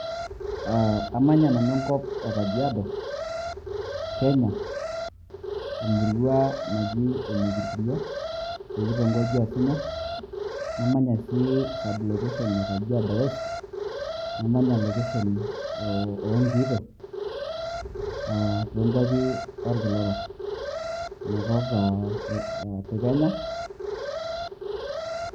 Amanya nanu enkop e Kajiado, Kenya. Emurua naji ene Kitiyia, tekitongoji e Yatimo. Namanya sii sub location e Kajiado West, namanya location oo Nkiito, to kwapi olkila orok, ina kop e Kenya.